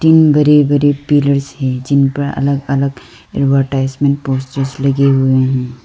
बड़े बड़े पिलर्स हैं जिन पर अलग अलग एडवर्टाइजमेंट पोस्टर्स लगे हुए हैं।